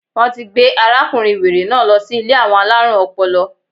Wọ́n ti gbé arákùnrin wèrè náà lọ sí Ilé àwọn alárùn ọpọlọ